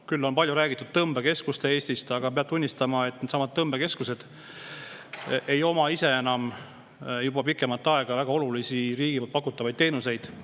Palju on räägitud tõmbekeskustest Eestis, aga peab tunnistama, et needsamad tõmbekeskused ei paku juba pikemat aega väga olulisi muidu riigi poolt osutatavaid teenuseid.